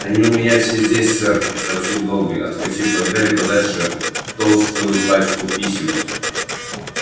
они у меня все здесь сэр сообщил добби отскочив от гарри подальше толстую пачку писем